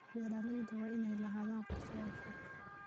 Beeralayda waa inay lahaadaan qorshayaal fog.